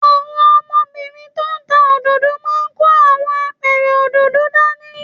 Àwọn ọmọbìnrin tó ń ta òdòdó máa ń kó àwọn apẹ̀rẹ̀ òdòdó dání